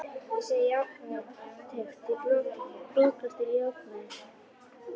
Ég segi jákvæð teikn því bóklestur er jákvæður.